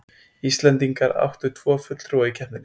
Íslendingar áttu tvo fulltrúa í keppninni